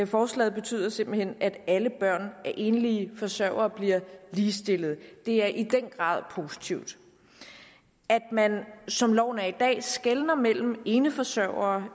forslaget betyder simpelt hen at alle børn af enlige forsørgere ligestilles det er i den grad positivt at man som loven er i dag skelner mellem eneforsørgere